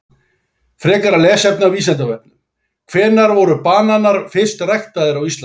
Frekara lesefni á Vísindavefnum: Hvenær voru bananar fyrst ræktaðir á Íslandi?